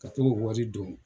Ka t'o wari don